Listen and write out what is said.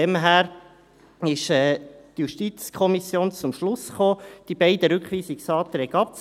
Daher ist die JuKo zum Schluss gekommen, die beiden Rückweisungsanträge abzulehnen.